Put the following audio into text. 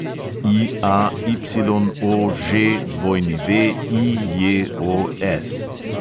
IAYOŽWIJOS